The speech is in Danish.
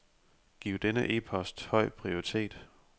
Giv denne e-post høj prioritet.